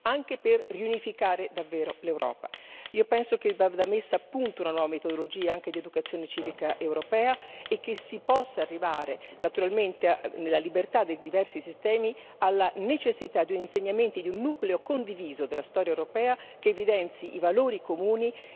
Io penso che vada messa a punto una nuova metodologia anche di educazione civica europea e che si possa arrivare naturalmente, nella libertà dei diversi sistemi, alla necessità di insegnamenti di un nucleo condiviso della storia europea, che evidenzi i valori comuni che sono stati alla base del processo di integrazione.